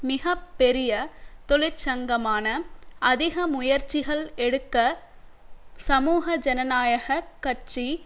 மிக பெரிய தொழிற்சங்கமான அதிக முயற்சிகள் எடுக்க சமூக ஜனநாயக கட்சி